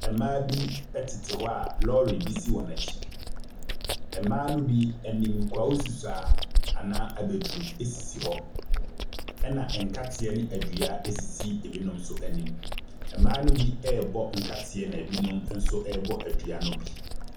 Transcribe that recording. Mmaa bi tete hɔ a lɔre bi si wɔn akyi. Mmaa no bi anim, kwawu nsusuaa anaa abɛduru sisi hɔ, ɛnna nkateɛ ne adua sisi binom nso anim. Mmaa no bi rebɔ nkateɛ na binom nso rebɔ adua no bi.